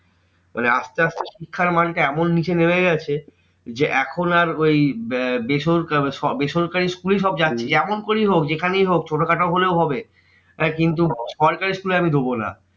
মানে আসতে আসতে শিক্ষার মানটা এমন নিচে নেবে যাচ্ছে যে, এখন আর ওই বে~ বেসরকারি বেসরকারি school এই সবাই যাচ্ছে। যেমন করেই হোক যেখান থেকেই হোক ছোটখাটো হলেও হবে। তাই কিন্তু সরকারি school এ আমি দেবো না।